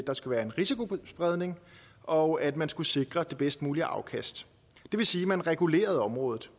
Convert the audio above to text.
der skulle være en risikospredning og at man skulle sikre det bedst mulige afkast det vil sige at man regulerede området